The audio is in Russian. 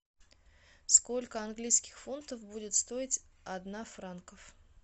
сколько английских фунтов будет стоить один франк